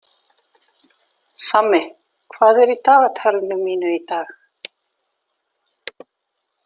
Sammi, hvað er í dagatalinu mínu í dag?